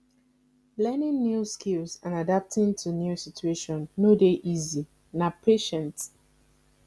learning new skills and adapting to new situation no dey easy na patient